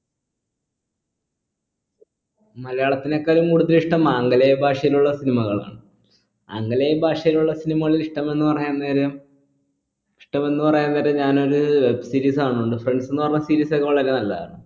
മലയാളത്തിനേക്കാളും കൂടുതൽ ഇഷ്ട്ടം ആംഗലേയ ഭാഷയിലുള്ള cinema കളാണ് ആംഗലേയ ഭാഷയിലുള്ള cinema കൾ ഇഷ്ടമെന്ന് പറയാൻ നേരം ഇഷ്ടമെന്ന് പറയാൻ നേരം ഞാൻ ഒര് series കാണുന്നുണ്ട് friends ന്ന് പറഞ്ഞ series ഒക്കെ വളരെ നല്ലതാണ്